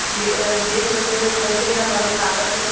Waste material जैसे हमारे कागज हो गए।